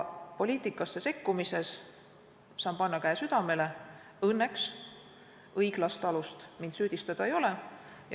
Poliitikasse sekkumise asjas saan panna käe südamele: õnneks õiglast alust minu süüdistamiseks ei ole.